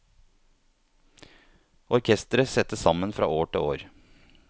Orkestret settes sammen fra år til år.